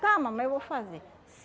Tá, mamãe, eu vou fazer.